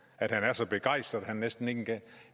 han er så begejstret